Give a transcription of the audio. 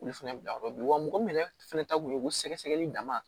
Olu fɛnɛ bila yɔrɔ min wa mɔgɔ min yɛrɛ fɛnɛ ta kun ye ko sɛgɛ sɛgɛli dama